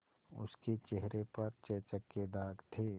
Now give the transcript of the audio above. उसके चेहरे पर चेचक के दाग थे